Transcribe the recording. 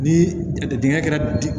Ni jateminɛ kɛra